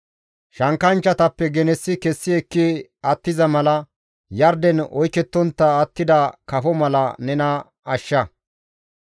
Shankkanchchatappe genessi kessi ekki attiza mala, yarden oykettontta attida kafo mala nena ashsha.